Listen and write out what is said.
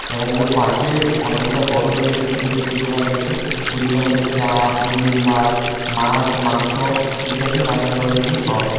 এবং ওর পাশে অনেকগুলা ঘর রয়েছে যেখানে ছুটো ছুটো দুকান রয়েছে ওই দুকানের ভিতরে চা মুদির মাল মাছ মাংস ইত্যাদি নানান ধরনের জিনিস পাওয়া যায়।